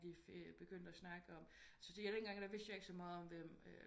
Vi fik begyndt at snakke om jeg syntes den gang vidste jeg ikke så meget om hvem